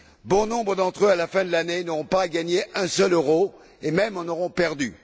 Bon nombre d'entre eux, à la fin de l'année, n'auront pas gagné un seul euro et, même, en auront perdu.